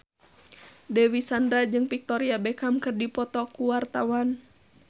Dewi Sandra jeung Victoria Beckham keur dipoto ku wartawan